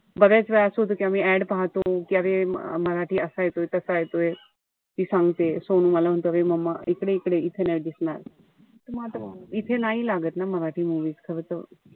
बऱ्याच वेळा असं होत कि आम्ही ad पाहतो. कि अरे मराठी असा येतोय तसा येतोय. मी सांगते, सोहम मला म्हणतो अरे momma इकडे इकडे इथे नाई दिसणार. म आता इथे नाई लागत ना मराठी movies खरं तर,